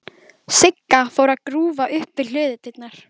Sigga fór að grúfa upp við hlöðudyrnar.